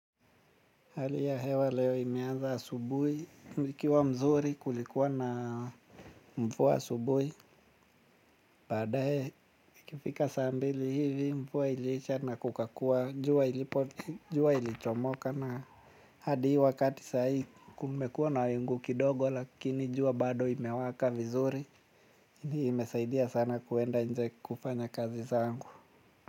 Hali ya hewa leo imeanza asubuhi, ilikuwa mzuri kulikuwa na mvua asubuhi. Baadaye ikifika saa mbili hivi mvua iliisha na kukakuwa jua ilichomoka na hadi wakati saa hii kumekuwa na wingu kidogo lakini jua bado imewaka vizuri. Hii imesaidia sana kwenda nje kufanya kazi zangu.